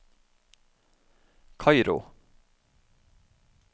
Kairo